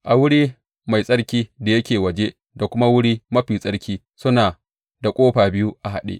A wuri mai tsarki da yake waje da kuma Wuri Mafi Tsarki suna da ƙofa biyu a haɗe.